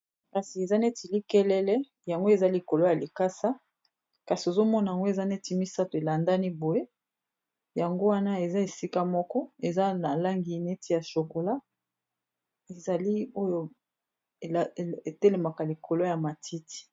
Kasi eza neti likelele yango eza likolo ya likasa kasi ozomona yango eza neti misato elandani boye yango wana eza esika moko eza na langi neti ya shokola ezali oyo etelemaka likolo ya matiti